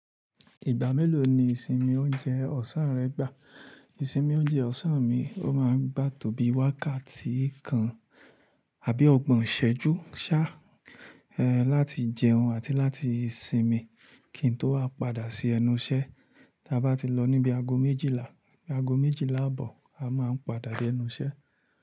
Ìgbà mélòó ni ìsinmi oúnjẹ ọ̀sán rẹ gbà? Ìsinmi oúnjẹ ọ̀sán mi, ó máa ń gbà tó bí wákàtí kan àbí ọgbọ̀n ṣẹ́jú ṣá, láti jẹun àti láti sinmi kí n tó wá padà sí ẹnu iṣẹ́. Ta bá ti lọ ní bi ago méjìlá, bí ago méjìlá abọ̀, a máa ń padà dé ẹnu iṣẹ́.